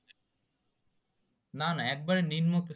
না না একদম নিম্ন